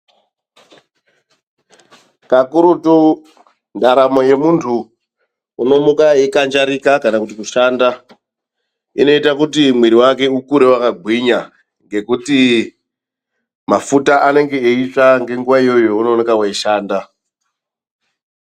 Kakurutu ndaramo yemundu unomuka achikanjarika kana kuti kushanda inoita kuti mwiri wake ukure wakagwinya ngekuti mafuta anenge eitsva ngenguva iyoyo yaunenge uchishanda.